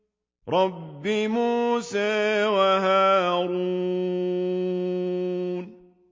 رَبِّ مُوسَىٰ وَهَارُونَ